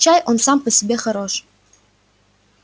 чай он сам по себе хорош